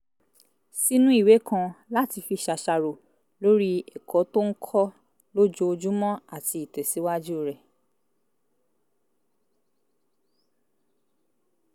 sínú ìwé kan láti fi ṣàṣàrò lórí ẹ̀kọ́ tó ń kọ́ lójoojúmọ́ àti ìtẹ̀síwájú rẹ̀